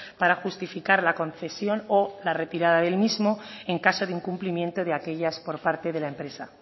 para justificar la concesión o la retirada del mismo en caso de incumplimiento de aquellas por parte de la empresa